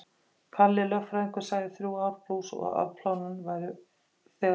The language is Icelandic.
Kalli lögfræðingur sagði þrjú ár plús og að afplánun væri þegar hafin.